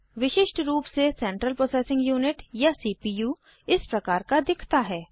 विशिष्ट रूप से सेंट्रल प्रोसेसिंग यूनिट या सीपीयू इस प्रकार का दिखता है